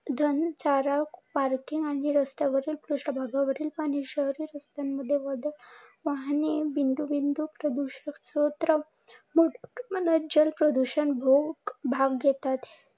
घणा चारा, पार्किंग आणि रस्त्यावरील पृष्ठ भागावरील पाणी, शहरी रस्त्यांवर वाढलेले वाहने इत्यादी प्रदुषक स्त्रोत जल प्रदुषक भाग घेतात.